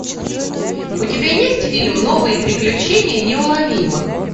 у тебя есть фильм новые приключения неуловимых